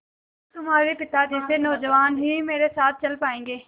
स़िर्फ तुम्हारे पिता जैसे नौजवान ही मेरे साथ चल पायेंगे